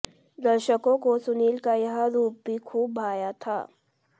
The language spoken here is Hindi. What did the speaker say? दर्शकों को सुनील का यह रूप भी खूब भाया था